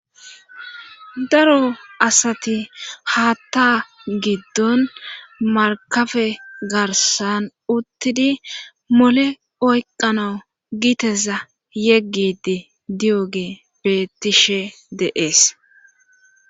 daro asati haatta giddon markabe garsan uttidi mole oyqano giteza yeggidi di7oge betishe deees